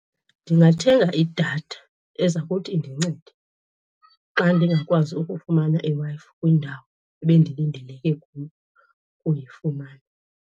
Ndingathenga idatha eza kuthi indincede xa ndingakwazi ukufumana iWi-Fi kwindawo ebendilindeleke kuyo ukuyifumana.